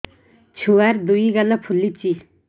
ଛୁଆର୍ ଦୁଇ ଗାଲ ଫୁଲିଚି